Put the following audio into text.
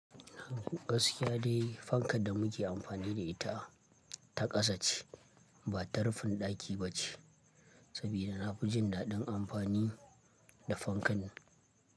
Gaskiya dai fankan da muke amfani da ita ta kasa ce ba ta rufin ɗaki ba ce, saboda na fi jin daɗin amfani da fankan.